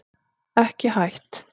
Ekki hætt